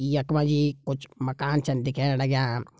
यख मा जी कुछ मकान छन दिखेण लग्यां।